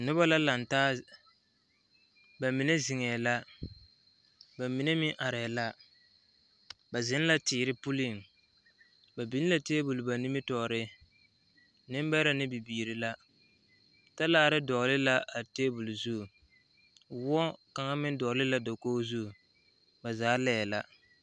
Yie la taa koɔ ka lɔɔpelaa be a koɔ poɔ ka bie do are a lɔre zu kyɛ seɛ kurisɔglaa kyɛ yage o kparoŋ ka teere meŋ are a yie puori seŋ kyɛ ka vūūmie meŋ a wa gaa.